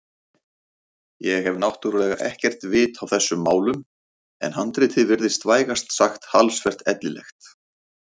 Ég hef náttúrlega ekkert vit á þessum málum en handritið virtist vægast sagt talsvert ellilegt.